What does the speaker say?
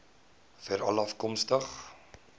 veralafkomstig